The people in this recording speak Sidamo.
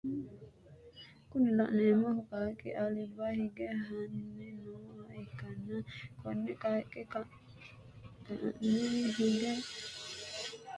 Kuni la'neemohu qaqqi alba hige hanni nooha ikkanna konni qaaqqi ka'aanni hige galanni mini nooha ikkanna kawaanni higge no haqqicho su'mi maati?